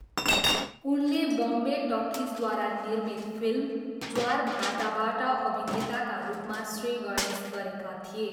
उनले बम्बे टकिजद्वारा निर्मित फिल्म ज्वार भाटाबाट अभिनेताका रूपमा श्रीगणेश गरेका थिए।